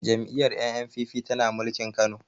Jam'iyyar N.N.p.p tana mulkin kano